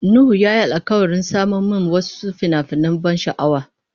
Nuhu ya yi alkawarin saman mun wasu fina-finan ban sha'awa.